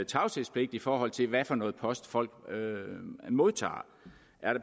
tavshedspligt i forhold til hvad det er for noget post folk modtager